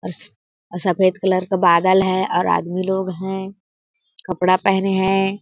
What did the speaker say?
उस और सफेद कलर का बादल है और आदमी लोग है कपड़ा पहने है।